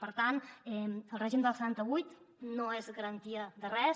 per tant el règim del setanta vuit no és garantia de res